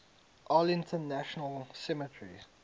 arlington national cemetery